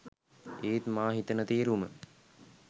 ඒත් මා හිතන තේරුම